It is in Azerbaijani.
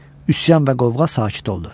Üsyan və qovğa sakit oldu.